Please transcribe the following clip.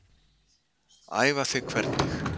Æfa þig hvernig?